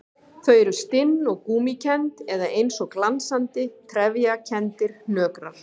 Þau eru stinn og gúmmíkennd eða eins og glansandi, trefjakenndir hnökrar.